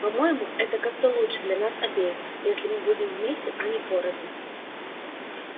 по-моему это как-то лучше для нас обеих если мы будем вместе а не порознь